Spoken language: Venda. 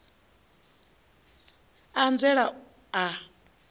a a nzela u a